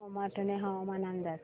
सोमाटणे हवामान अंदाज